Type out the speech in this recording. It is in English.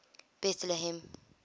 betlehem